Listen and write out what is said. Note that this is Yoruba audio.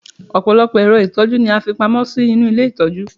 ọpọlọpọ ẹrọ itọju ni a fi pamó sí inú ilé itọju